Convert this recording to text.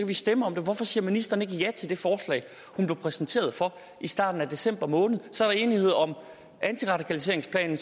vi stemme om det hvorfor siger ministeren ikke ja til det forslag hun blev præsenteret for i starten af december måned så er der enighed om antiradikaliseringsplanen